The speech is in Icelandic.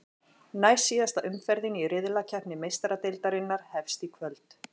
Næstsíðasta umferðin í riðlakeppni Meistaradeildarinnar hefst í kvöld.